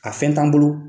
A fɛn t'an bolo